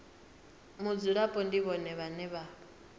mudzulapo ndi vhone vhane vha